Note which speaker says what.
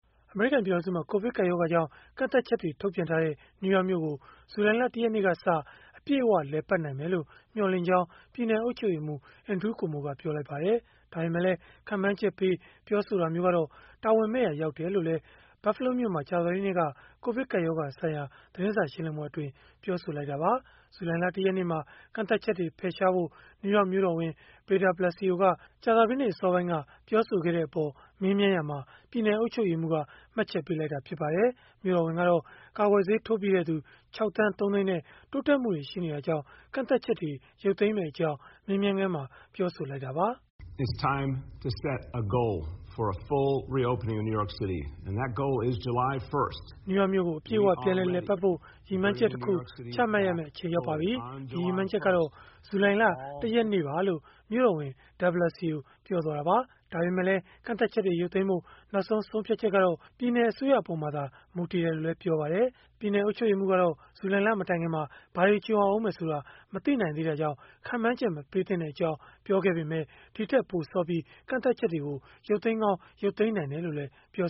Speaker 1: အမေရိကန် ပြည်ထောင်စုမှာ ကိုဗစ်ကပ်ရောဂါကြောင့် ကန့်သတ်ချက်တွေ ထုတ်ပြန်ထားတဲ့ နယူးယောက်မြို့ကို ဇူလိုင်လ ၁ ရက်နေ့ကစ အပြည့်အဝလည်ပတ်နိုင်မယ်လို့ မျှော်လင့်ကြောင်း ပြည်နယ်အုပ်ချုပ်ရေးမှူး Andrew Cuomo က ပြောပါတယ်။ ဒါပေမဲ့လည်း ခန့်မှန်းချက်ပေး ပြောဆိုတာမျိုးကတော့ တာဝန်မဲ့ရာ ရောက်တယ်လို့လည်း Buffalo မြို့မှာ ကြာသပတေးနေ့က ကိုဗစ်ကပ်ရောဂါဆိုင်ရာ သတင်းစာ ရှင်းလင်းပွဲမှာ ပြောဆိုခဲ့တာပါ။ ဇူလိုင်လ ၁ ရက်နေ့မှာ ကန့်သတ်ချက်တွေ ဖယ်ရှားဖို့ နယူးယောက် မြို့တော်ဝန် Bill DeBlasio က ကြာသပတေးနေ့ အစောပိုင်း ပြောဆိုခဲ့တဲ့အပေါ် မေးမြန်းရာမှာ ပြည်နယ်အုပ်ချုပ်ရေးမှူးက မှတ်ချက်ပေးလိုက်တာလည်း ဖြစ်ပါတယ်။ မြို့တော်ဝန်ကတော့ ကာကွယ်ဆေး ထိုးပြီးတဲ့သူ ၆ သန်း ၃ သိန်းနဲ့ တိုးတက်မှုတွေ ရရှိနေတာကြောင့် ကန့်သတ်ချက်တွေ ရုပ်သိမ်းမယ့်အကြောင်း မေးမြန်းခန်းတခုမှာ ပြောဆိုလိုက်
Speaker 2: တာပါ။ “နယူးယ
Speaker 1: ောက်မြို့ကို အပြည့်အ၀ ပြန်လည်ပတ်ဖို့ ရည်မှန်းချက်တခု ချမှတ်ရမယ့် အချိန်ရောက်ပါပြီ။ ဒီရည်မှန်းချက်ကတော့ ဇူလိုင်လ ၁ ရက်နေ့ပါ။” လို့ မြို့တော်ဝန် DeBlasio ပြောဆိုသွားတာပါ။ ဒါပေမဲ့လည်း ကန့်သတ်ချက်တွေ ရုပ်သိမ်းဖို့ နောက်ဆုံး ဆုံးဖြတ်ချက်ကတော့ ပြည်နယ်အစိုးရအပေါ်မှာ မူတည်တယ်လို့လည်း ပြောပါတယ်။ ပြည်နယ်အုပ်ချုပ်ရေးမှူးကတော့ ဇူလိုင်လ မတိုင်ခင် ဘာတွေကြုံရဦးမယ်ဆိုတာ မသိနိုင်သေးတာကြောင့် ခန့်မှန်းချက် မပေးသင့်ကြောင်း ပြောခဲ့ပေမဲ့ ဒီထက်ပို စောပြီး ကန့်သတ်ချက်တွေ ရုပ်သိမ်းကောင်း ရုပ်သိမ်းနိုင်တယ်လို့လည်း ပြော